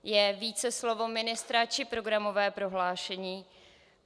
Je více slovo ministra, či programové prohlášení?